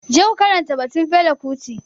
Je ku karanta batun Fela kuti.